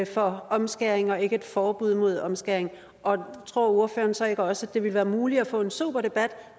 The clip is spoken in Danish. for omskæring og ikke et forbud mod omskæring og tror ordføreren så ikke også at det ville være muligt at få en sober debat